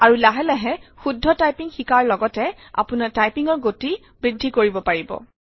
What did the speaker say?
আৰু লাহে লাহে শুদ্ধ টাইপিং শিকাৰ লগতে আপোনাৰ টাইপিঙৰ গতি বৃদ্ধি কৰিব পাৰিব